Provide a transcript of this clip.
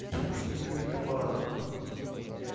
в каких других аппаратах